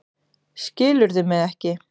Skilurðu mig ekki?